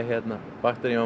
bakterían var